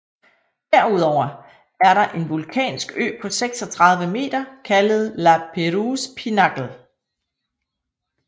Derudover er der en vulkansk ø på 36 meter kaldet La Perouse Pinacle